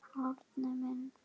Árni minn.